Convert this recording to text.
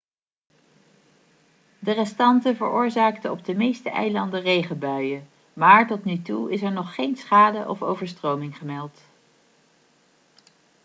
de restanten veroorzaakten op de meeste eilanden regenbuien maar tot nu toe is er nog geen schade of overstroming gemeld